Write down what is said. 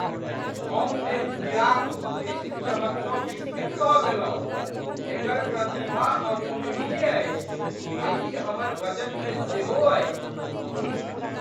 हम एहि हीराक उत्कृष्ट चमकसँ विस्मित भऽ गेलहुँ! एकर प्रतिभा अतुलनीय अछि, आ ई हमर बजटमे सेहो अछि।